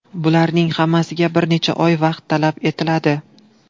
Bularning hammasiga bir necha oy vaqt talab etiladi.